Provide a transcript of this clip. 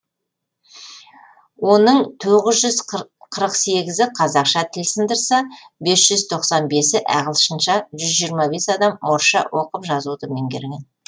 оның тоғыз жүз қырық сегізі қазақша тіл сындырса бес жүз тоқсан бесі ағылшынша жүз жиырма бес адам орысша оқып жазуды меңгерген